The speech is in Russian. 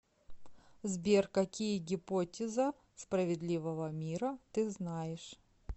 сбер какие гипотеза справедливого мира ты знаешь